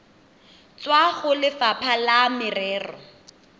tswa go lefapha la merero